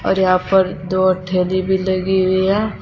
और यहां पर दो ठेले भी लगे हुए हैं।